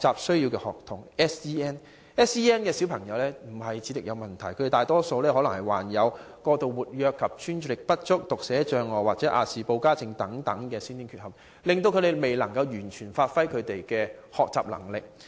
SEN 學童並非有智力問題，而是大多有過度活躍及專注力不足、讀寫障礙或亞氏保加症等先天缺陷，以致他們未能完全發揮學習能力。